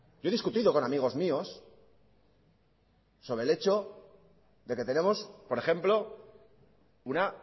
yo he discutido con amigos míos sobre el hecho de que tenemos por ejemplo una